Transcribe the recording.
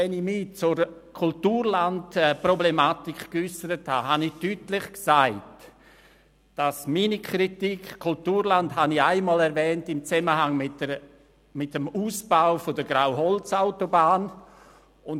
Wenn ich mich zur Kulturlandproblematik geäussert habe, dann tat ich dies einmal deutlich im Zusammenhang mit dem Ausbau der Grauholzautobahn geäussert.